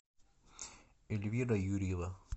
эльвира юрьева